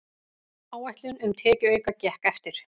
Áætlun um tekjuauka gekk eftir